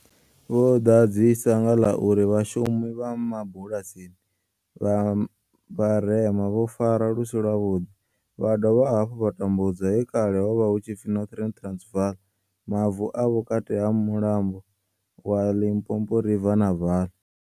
Vho ḓadzisa nga ḽa uri vhashumi vha mabulasini vha vharema vho farwa lu si lwavhuḓi vha dovha hafhu vha tambudzwa he kale ha vha hu tshi pfi Northern Transvaal, Mavu a vhukati ha mulambo wa Limpopo river na Vaal.